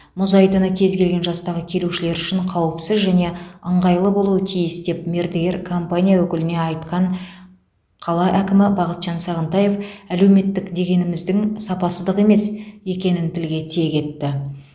мұз айдыны кез келген жастағы келушілер үшін қауіпсіз және ыңғайлы болуы тиіс деп мердігер компания өкіліне айтқан қала әкімі бақытжан сағынтаев әлеуметтік дегеніміздің сапасыздық емес екенін тілге тиек етті